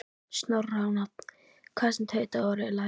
Snorra á nafn, hvað sem tautaði og raulaði.